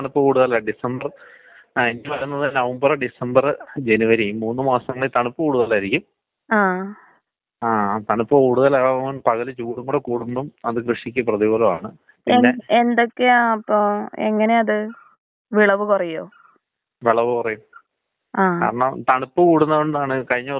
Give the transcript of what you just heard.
അത്, എന്‍റെടുത്ത് കുട്ടികളോക്കെ വരൂടാ. അത് അത്കൊണ്ടാണ് ഞാൻ ചോദിച്ചത്. എങ്ങനെന്ന് വച്ചാ ചെറിയ കുഞ്ഞ് പിള്ളേര് തൊട്ട് വളർന്നവര് വരെ വരുന്നുണ്ട്. അവർക്കൊക്കെ രാവിലെ ചെറിയ ഒരു തുമ്മൽ മാത്രം എന്ന് തന്നേരിക്കും പറയും. പക്ഷെ അടുത്ത ദിവസം വരുമ്പോ അവര് പറയണത് ശ്വാസം മുട്ട്, രാത്രി കിടന്ന് ഉറങ്ങാൻ പറ്റിയില്ല. അതാണ് അവർ പറയണ ഫുൾ വിഷയമായിരിക്കണത്. അത് എന്ത് കൊണ്ടാണന്ന് പറ.